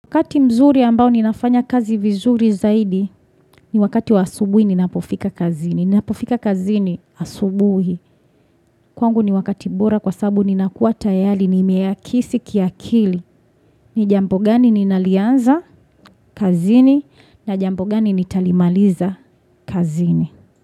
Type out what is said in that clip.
Wakati mzuri ambao ninafanya kazi vizuri zaidi ni wakati wa asubuhi nina pofika kazini. Nina pofika kazini asubuhi. Kwangu ni wakati bora kwa sabu nina kuwa tayali nime akisi kiakili. Nijampo gani ninalianza kazini na jampo gani nitalimaliza kazini.